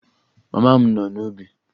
Mama m nọ n'ubi